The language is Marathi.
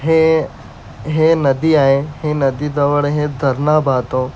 हे हे नदी आहे. हे नदीजवळ हे धरण बहतो. --